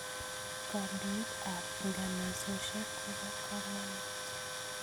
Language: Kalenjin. Kandoik ap nganasosyek ko po kamonut